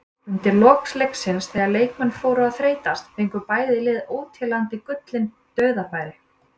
Undir lok leiksins þegar leikmenn fóru að þreytast fengu bæði lið óteljandi gullin dauðafæri.